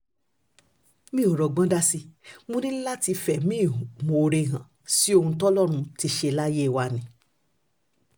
mi ò rọ́gbọ́n dá sí i mo ní láti fẹ̀mí ìmoore hàn sí ohun tọ́lọ́run ti ṣe láyé wa ni